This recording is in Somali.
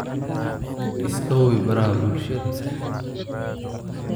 iska hubi baraha bulshada